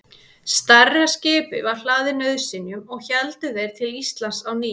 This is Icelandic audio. Stærra skipið var hlaðið nauðsynjum og héldu þeir til Íslands á ný.